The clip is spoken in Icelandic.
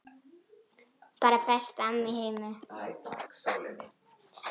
Bara besta amma í heimi.